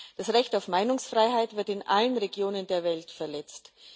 Das Recht auf Meinungsfreiheit wird in allen Regionen der Welt verletzt.